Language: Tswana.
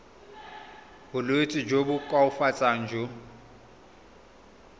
bolwetsi jo bo koafatsang jo